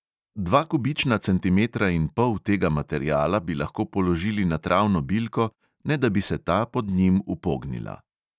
Dva kubična centimetra in pol tega materiala bi lahko položili na travno bilko, ne da bi se ta pod njim upognila.